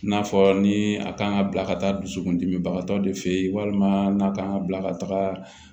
N'a fɔ ni a kan ka bila ka taa dusukun dimibagatɔ de fɛ ye walima n'a kan ka bila ka taga